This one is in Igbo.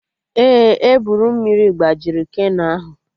Ee, eburu mmiri gbajiri keno ahụ